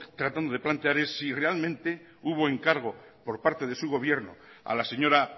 tratando de plantear es si realmente hubo encargo por parte de su gobierno a la señora